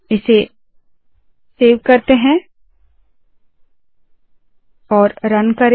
इसे सेव करते है रन करे